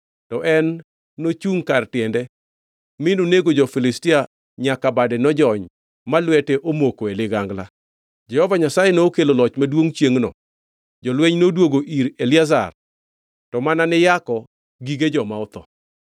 to en nochungʼ kar tiende mi nonego jo-Filistia nyaka bade nojony ma lwete omoko e ligangla. Jehova Nyasaye nokelo loch maduongʼ chiengʼno, jolweny noduogo ir Eliazar to mana ni yako gige joma otho.